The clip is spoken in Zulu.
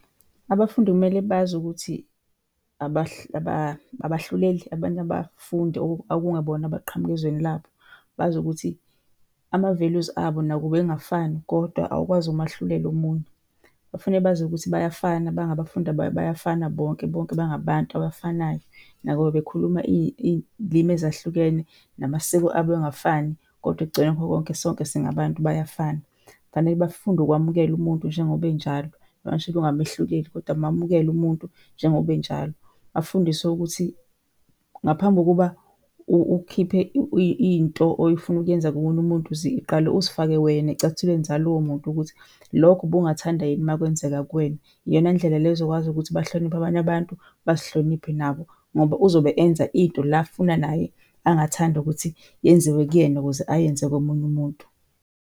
Abafundi kumele bazi ukuthi abahluleli abanye abafundi okungebona abaqhamuka ezweni labo. Bazi ukuthi ama-values abo nakuba engafani kodwa awukwazi ukumahlulela omunye. Bafanele bazi ukuthi bayafana bangabafundi bayafana bonke, bonke bangabantu abafanayo. Nakuba bekhuluma iy'limi ezahlukene namasiko abo engafani kodwa ekugcineni kwakho konke sonke singabantu, bayafana. Kufanele bafunde ukwamukelwa umuntu njengoba enjalo, ungamehluleli kodwa umamukele umuntu njengoba enjalo. Bafundiswe ukuthi ngaphambi kokuba ukhiphe into oyifuna ukuyenza komunye umuntu ziqale uzifake wena ey'cathulweni zalowo muntu ukuthi lokho ubungathanda yini uma kwenzeka kuwena? Iyona ndlela le ozokwazi ukuthi ubahloniphe abanye abantu, bazihloniphe nabo ngoba uzobe enza into la afuna naye angathanda ukuthi yenziwe kuyena ukuze ayenze komunye umuntu.